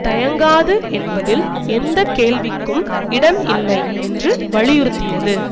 தயங்காது என்பதில் எந்த கேள்விக்கும் இடம் இல்லை என்று வலியுறுத்தியது